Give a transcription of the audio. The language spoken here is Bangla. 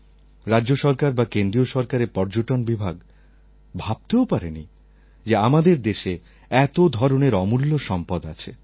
রাজ্য সরকার বা কেন্দ্রীয় সরকারের পর্যটন বিভাগ ভাবতেও পারেনি যে আমাদের দেশে এত ধরনের অমূল্য সম্পদ আছে